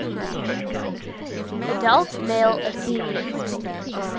adult male athenian